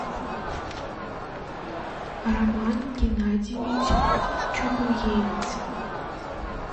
роман геннадьевич чугуевец